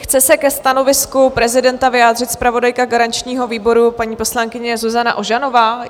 Chce se ke stanovisku prezidenta vyjádřit zpravodajka garančního výboru, paní poslankyně Zuzana Ožanová?